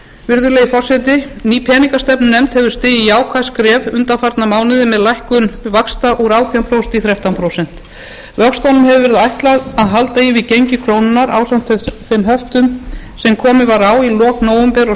virðulegi forseti ný peningastefnunefnd hefur stigið jákvæð skref undanfarna mánuði með lækkun vaxta úr átján prósent í þrettán prósent vöxtunum hefur verið ætlað að halda í við gengi krónunnar ásamt þeim höftum sem komið var á í lok nóvember og